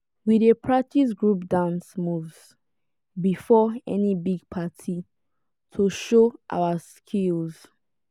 we dey practice group dance moves before any big party to show our skills.